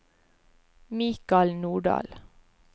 Mikal Nordahl